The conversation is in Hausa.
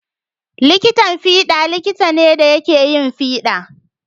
Likitan fiɗa likita ne da yake yin fiɗa.